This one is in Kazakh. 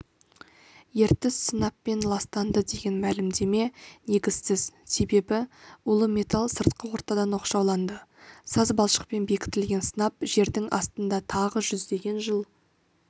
ертіс сынаппен ластанды деген мәлімдеме негізсіз себебі улы металл сыртқы ортадан оқшауланды саз балшықпен бекітілген сынап жердің астында тағы жүздеген жыл